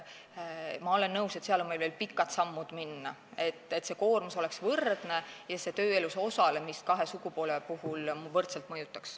Ma olen nõus, et seal on meil veel pikk tee minna, et see koormus oleks võrdne ja see mõjutaks kahe sugupoole tööelus osalemist võrdselt.